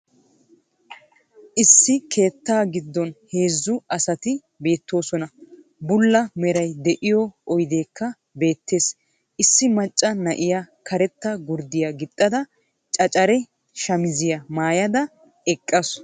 Issi keettaa giddon heezzu asati beettoosona. Bulla meray de'iyo oydekka beettees. Issi macca na'iya karetta gurdiya qixxada canccaree shamiziya mayada eqaasu.